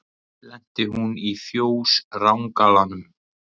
Lenti hún í fjós rangalanum.